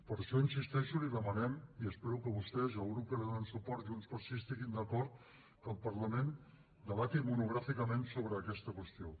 per això hi insisteixo li demanem i espero que vostès i el grup que els dona suport junts pel sí estiguin d’acord que el parlament debati monogràficament sobre aquesta qüestió